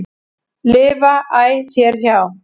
lifa æ þér hjá.